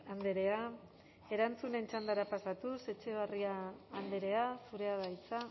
andrea erantzunen txandara pasatuz etxeberria andrea zurea da hitza